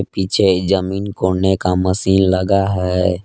पीछे जमीन कोड़ने का मशीन लगा है।